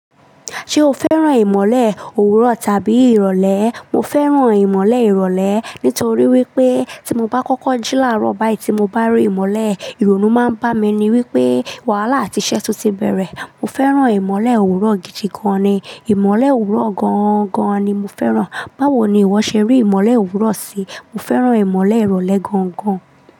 Ṣé o fẹ́ràn ìmọ̀le òwúrọ̀ tàbí ìrọ̀lẹ́? Mo fẹ́ràn ìmọ̀le ìrọ̀lẹ́ nítorí wípé tí mo bá kọ́kọ́ jílárọ̀ báyìí tí mo bá rí ìmọ̀le, ìrònú máa ń bá mi ní wípé wàhálà àti iṣẹ́ tuntun bẹ̀rẹ̀. Mo fẹ́ràn ìmọ̀le òwúrọ̀ gidi gan ni. Ìmọ̀le òwúrọ̀ gán-gán ni mo fẹ́ràn. Báwo ni ìwọ ṣe rí ìmọ̀le òwúrọ̀ sí? Mo fẹ́ràn ìmọ̀le ìrọ̀lẹ́ gangan.